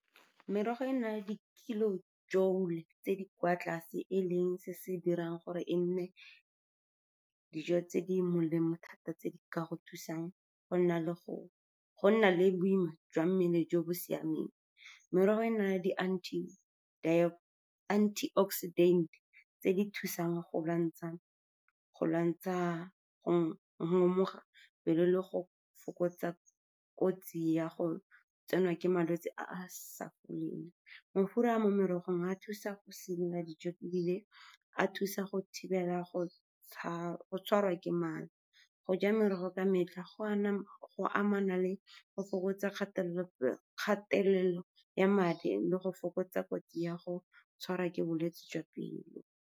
Merogo e na le di-kilojoule tse di kwa tlase, e leng se se dirang gore e nne dijo tse di molemo thata tse di ka go thusang go nna le boima jwa mmele jo bo siameng. Merogo e na le di-anti-oxidant tse di thusang go lwantsha go ngomoga pelo le go fokotsa kotsi ya go tsenwa ke malwetse a a sa foleng. Mafura a mo merogong a thusa go dijo, ebile a thusa go thibela go tshwarwa ke mala. Go ja merogo ka metlha go amana le go fokotsa kgatelelo ya madi le go fokotsa kotsi ya go tshwarwa ke bolwetse jwa pelo.